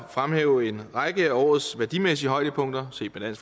fremhæve en række af årets værdimæssige højdepunkter set med